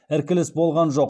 іркіліс болған жоқ